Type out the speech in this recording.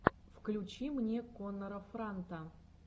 включи мне коннора франта